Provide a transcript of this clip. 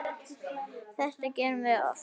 Þetta gerum við oft.